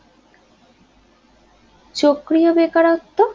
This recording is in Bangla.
চক্রীয় বেকারত্ব